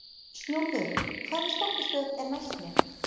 Snjólfur, hvaða stoppistöð er næst mér?